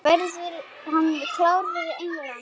Verður hann klár fyrir England?